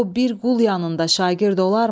O bir qul yanında şagird olarmı?